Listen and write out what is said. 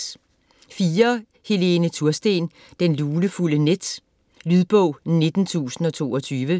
Tursten, Helene: Det lunefulde net Lydbog 19022